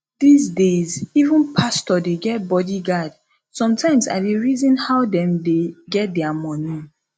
dis days even pastor dey get body guard sometimes i dey reason how dem dey get dia money